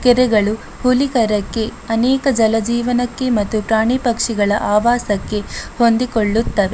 ಕೆರೆಗಳು ಅನೇಕ ಜಲಜೀವನಕ್ಕೆ ಮತ್ತು ಪ್ರಾಣಿಪಕ್ಷಿಗಳ ಆವಾಸಕ್ಕೆ ಹೊಂದಿಕೊಳ್ಳುತ್ತವೆ.